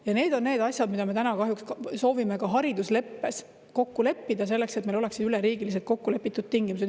Ja need on need asjad, mida me soovime ka haridusleppes kokku leppida, selleks et meil oleksid üleriigiliselt kokku lepitud tingimused.